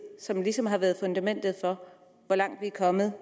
som ligesom har været fundamentet for hvor langt vi er kommet